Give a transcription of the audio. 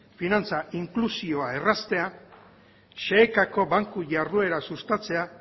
finantza inklusioa erraztea xehekako banku jarduera sustatzea